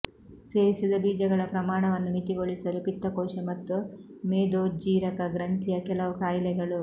ಸೇವಿಸಿದ ಬೀಜಗಳ ಪ್ರಮಾಣವನ್ನು ಮಿತಿಗೊಳಿಸಲು ಪಿತ್ತಕೋಶ ಮತ್ತು ಮೇದೋಜ್ಜೀರಕ ಗ್ರಂಥಿಯ ಕೆಲವು ಕಾಯಿಲೆಗಳು